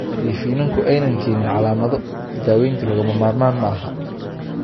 Haddii finanku aanay keenin calaamado, daawaynta lagama maarmaan ma aha.